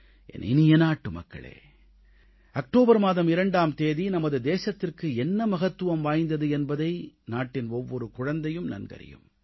என் இனிய நாட்டுமக்களே அக்டோபர் மாதம் 2ஆம் தேதி நமது தேசத்திற்கு என்ன மகத்துவம் வாய்ந்தது என்பதை நாட்டின் ஒவ்வொரு குழந்தையும் நன்கறியும்